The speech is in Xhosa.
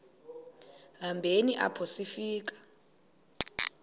hambeni apho sifika